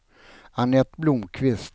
Annette Blomqvist